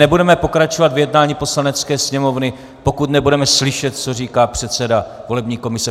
Nebudeme pokračovat v jednání Poslanecké sněmovny, pokud nebudeme slyšet, co říká předseda volební komise.